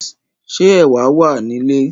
Ṣé ẹ̀wà wà ní ilé?